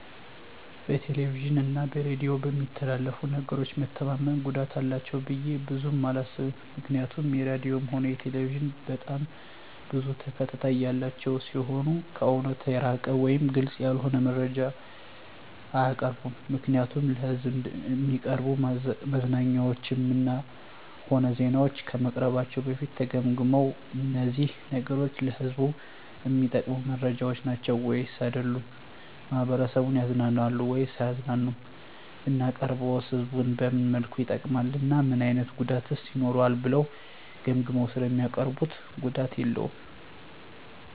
በቴሌቪዥን እና በሬዲዮ በሚተላለፉ ነገሮች መተማመን ጉዳት አላቸው ብዬ ብዙም አላስብም ምክንያቱም ራድዮም ሆነ ቴሌቪዥን በጣም ብዙ ተከታታይ ያላቸው ሲሆኑ ከእውነት የራቀ ወይም ግልፅ ያልሆነ መረጃ አያቀርቡም ምክንያቱም ለሕዝብ እሚቀርቡ መዝናኛዎችም ሆነ ዜናዎች ከመቅረባቸው በፊት ተገምግመው እነዚህ ነገሮች ለህዝቡ እሚጠቅሙ መረጃዎች ናቸው ወይስ አይደሉም፣ ማህበረሰቡን ያዝናናሉ ወይስ አያዝናኑም፣ ብናቀርበውስ ህዝቡን በምን መልኩ ይጠቅማል እና ምን አይነት ጉዳትስ ይኖረዋል ብለው ገምግመው ስለሚያቀርቡት ጉዳት የለውም።